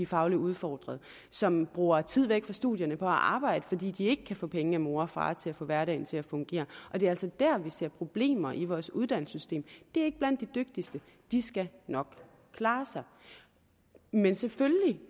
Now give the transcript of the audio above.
fagligt udfordret og som bruger tid væk fra studierne på at arbejde fordi de ikke kan få penge af mor og far til at få hverdagen til at fungere og det er altså der vi ser problemer i vores uddannelsessystem det er ikke blandt de dygtigste de skal nok klare sig men selvfølgelig